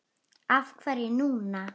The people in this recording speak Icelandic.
Af hverju núna?